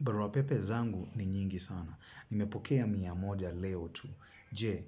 Barua pepe zangu ni nyingi sana. Nimepokea mia moja leo tu. Je,